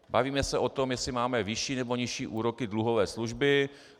Bavíme se o tom, jestli máme nižší nebo vyšší úroky dluhové služby.